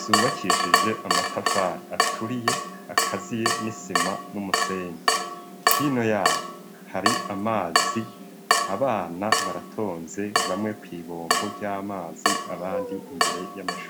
zubakishije amatafari aturiye akaziye n'isima n'umusenyi. Hino yayo hari amazi abana baratonze bamwe kw'ibombo ry'amazi abandi imbere y'amashure.